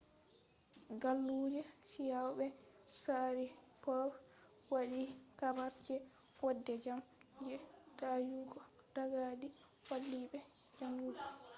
galluje chiao be sharipov waddhi habar je jode jam je dayugo daga du wali be ju’ungo